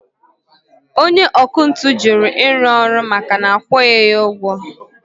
Onye ọkụ ntụ juru iru ọrụ maka na akwughi ya ụgwọ